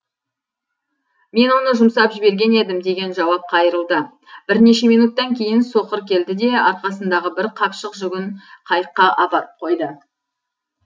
мен оны жұмсап жіберген едім деген жауап қайырылды бірнеше минуттан кейін соқыр келді де арқасындағы бір қапшық жүгін қайыққа апарып қойды